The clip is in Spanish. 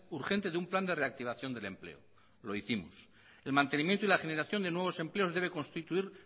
urgente de un plan de reactivación del empleo lo hicimos el mantenimiento y la generación de nuevos empleos debe constituir